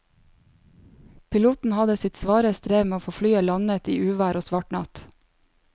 Piloten hadde sitt svare strev med å få landet flyet i uvær og svart natt.